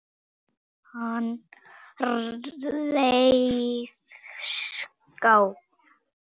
Hann réðst á